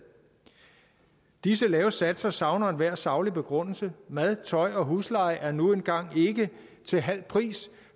disse lave satser savner enhver saglig begrundelse mad tøj og husleje er nu engang ikke til halv pris